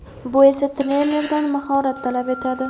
Bu esa trenerdan mahorat talab etadi.